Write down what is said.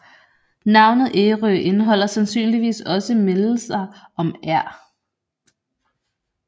Navnet Ærø indeholder sandsynligvis også mindelser om Ær